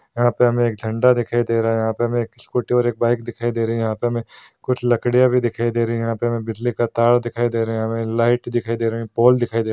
यहाँ पे हमें एक झंडा दिखाई दे रहा है यहाँ पे हमें एक स्कूटी और एक बाइक दिखाई दे रही है यहाँ पे हमें कुछ लकड़ियाँ भी दिखाई दे रही है यहाँ पे हमें बिजली का तार दिखाई दे रहा है यहाँ पे लाइट दिखाई दे रहें हैं पोल दिखाई दे रहा है।